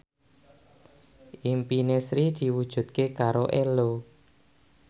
impine Sri diwujudke karo Ello